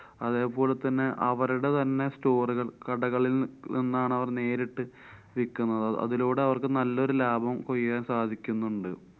അതേപോലെതന്നെ അവരുടെ തന്നെ store കള്‍ കടകളില്‍ നിന്നാണ് അവര്‍ നേരിട്ട് വിക്കുന്നത്. അതിലൂടെ അവര്‍ക്ക് നല്ലൊരു ലാഭം കൊയ്യാന്‍ സാധിക്കുന്നുണ്ട്.